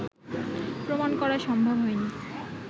প্রমাণ করা সম্ভব হয়নি